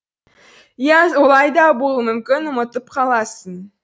иә олай да болуы мүмкін ұмытып қаласың